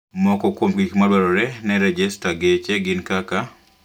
Moko kuom gik madwarore ne rejesta geche gin kaka?